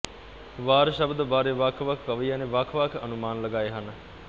ਵਾਰ ਸ਼ਬਦ ਬਾਰੇ ਵੱਖਵੱਖ ਕਵੀਆਂ ਨੇ ਵੱਖਵੱਖ ਅਨੁਮਾਨ ਲਗਾਏ ਹਨ